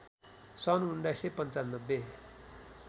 सन् १९९५